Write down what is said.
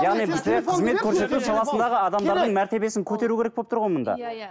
яғни бізге қызмет көрсету саласындағы адамдардың мәртебесін көтеру керек болып тұр ғой мұнда иә иә